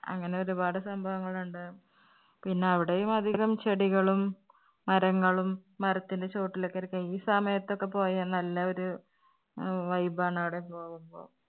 അങ്ങനെ ഒരുപാട് സംഭവങ്ങൾ ഉണ്ട്. പിന്നെ അവിടെയും അധികം ചെടികളും മരങ്ങളും മരത്തിന്റെ ചോട്ടിൽ ഒക്കെ ഇരിക്കാം. ഈ സമയത്ത് ഒക്കെ പോയാൽ നല്ല ഒരു ആഹ് vibe ആണ് അവിടെ പോകുമ്പോൾ.